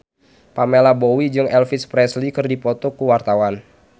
Pamela Bowie jeung Elvis Presley keur dipoto ku wartawan